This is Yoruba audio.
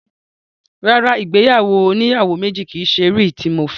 Rárá, ìgbéyàwó oníyàwó méjì kìí ṣe irú eyi tí mo fẹ́